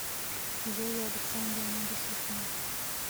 зоя александровна душутина